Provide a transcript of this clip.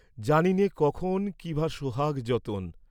জানিনে কখনো কি বা সোহাগ যতন।